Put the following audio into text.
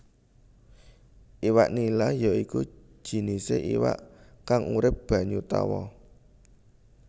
Iwak nila ya iku jinisé iwak kang urip banyu tawa